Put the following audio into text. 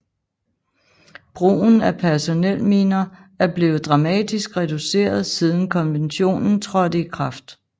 Brugen af personelminer er blevet dramatisk reduceret siden konventionen trådte i kraft